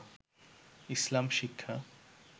ইসলাম শিক্ষা